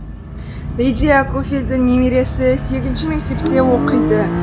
лидия куфельдің немересі сегізінші мектепте оқиды